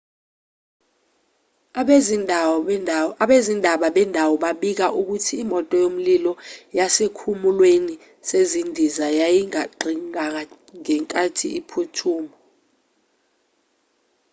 abezindaba bendawo babika ukuthi imoto yomlilo yasesikhumulweni sezindiza yaginqikangenkathi iphuthuma